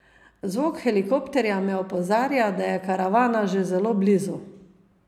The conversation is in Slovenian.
Zvok helikopterja me opozarja, da je karavana že zelo blizu.